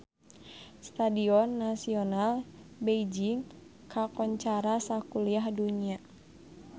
Stadion Nasional Beijing kakoncara sakuliah dunya